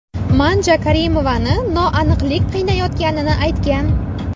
Manja Karimovani noaniqlik qiynayotganini aytgan.